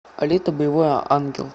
алита боевой ангел